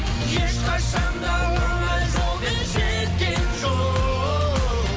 ешқашан да оңай жолмен жеткен жоқ